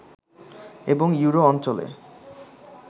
এবং ইউরো অঞ্চলে